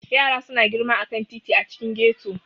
Yara suna girma a kan titi a cikin ghetto.